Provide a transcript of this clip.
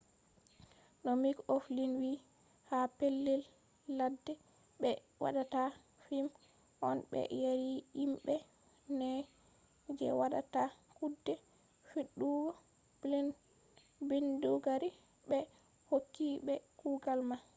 no mik oflin wi ha pellel ladde ɓe waɗata fim on ɓe yari himɓe nai je waɗata kuɗe fiɗugo bindigaru ɓe hokki ɓe kugal man